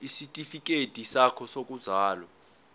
isitifikedi sakho sokuzalwa